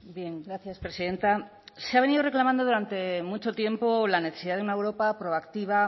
bien gracias presidenta se ha venido reclamando durante mucho tiempo la necesidad de una europa proactiva